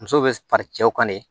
Muso bɛ fari cɛw kan ne